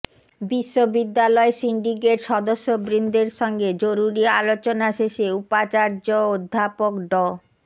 বিশ্ববিদ্যালয় সিন্ডিকেট সদস্যবৃন্দের সঙ্গে জরুরি আলোচনা শেষে উপাচার্য অধ্যাপক ড